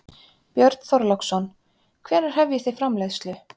Björn Þorláksson: Hvenær hefjið þið framleiðslu?